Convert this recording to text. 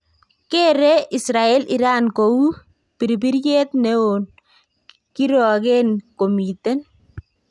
Kere Israel Iran kou birbiryeet neon kirokeen komiten.